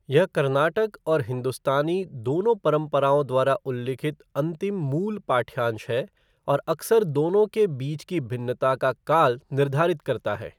यह कर्नाटक और हिंदुस्तानी दोनों परंपराओं द्वारा उल्लिखित अंतिम मूल पाठ्यांश है और अक्सर दोनों के बीच की भिन्नता का काल निर्धीरित करता है।